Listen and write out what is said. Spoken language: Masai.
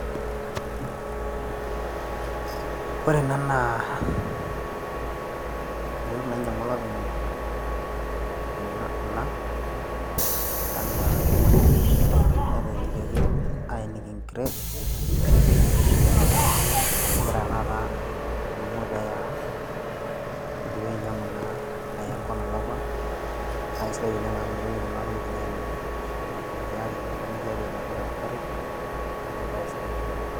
Ore ena naa, intokiting' nainyang'ua olopeny ena kuna naatimirakaki neetenikiniakini aeniki encret, neaku kegira taata adumu peeya ang', eidipa ainyang'u naa ayaa enkop nalakua naa keisidai oleng' amu meitoki kuna tokiting' aimin meitiari metoni tiatua inapita te nkarri, neaku embae sidai ina.